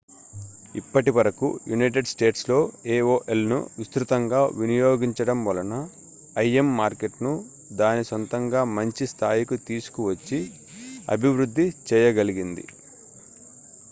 ఇప్పటి వరకు united statesలో aolను విస్తృతంగా వినియోగించడం వలన im మార్కెట్‌ను దాని సొంతంగా మంచి స్థాయికి తీసుకొని వచ్చి అభివృద్ధి చేయగలిగింది